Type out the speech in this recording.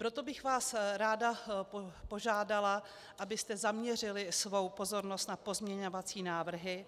Proto bych vás ráda požádala, abyste zaměřili svou pozornost na pozměňovací návrhy,